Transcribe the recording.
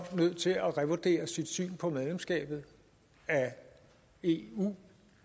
nødt til at revurdere sit syn på medlemskabet af eu